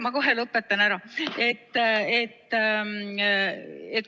Ma kohe lõpetan.